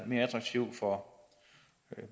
mere attraktivt for